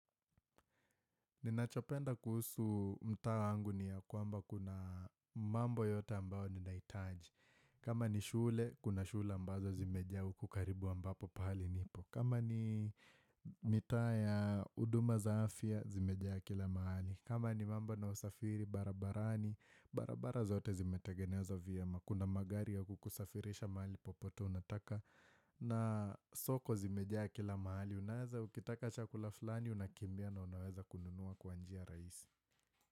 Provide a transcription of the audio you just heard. Ninachopenda kuhusu mtaa wangu ni ya kwamba kuna mambo yote ambao ninahitaji. Kama ni shule, kuna shule ambazo zimejaa huku karibu ambapo pahali nipo. Kama ni mitaa ya huduma za afya, zimejaa kila mahali. Kama ni mambo na usafiri, barabarani, barabara zote zimetengenezwa vyema. Kuna magari ya kukusafirisha mahali popote unataka. Na soko zimejaa kila mahali Unaweza ukitaka chakula fulani Unakimbia na unaweza kununua kwa njia rahisi.